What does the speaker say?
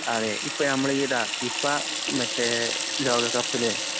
അതേ. ഇപ്പഞമ്മള്ഈലാ ഫിഫാ മറ്റേ ലോകകപ്പില്